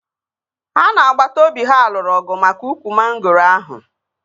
Ha na agbata obi ha lụrụ ọgụ maka ukwu mangoro ahụ